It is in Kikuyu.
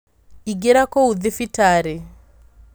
Ingĩra kũu thibitarĩ